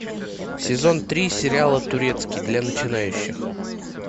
сезон три сериала турецкий для начинающих